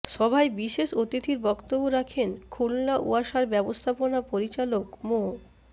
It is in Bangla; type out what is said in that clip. সভায় বিশেষ অতিথির বক্তব্য রাখেন খুলনা ওয়াসার ব্যবস্থাপনা পরিচালক মো